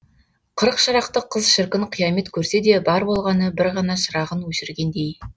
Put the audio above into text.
қырық шырақты қыз шіркін қиямет көрсе де бар болғаны бір ғана шырағын өшіргендей